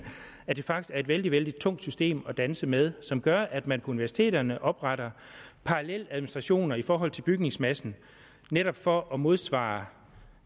at det faktisk er et vældig vældig tungt system at danse med som gør at man på universiteterne opretter paralleladministrationer i forhold til bygningsmassen netop for at modsvare